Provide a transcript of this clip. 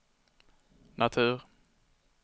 natur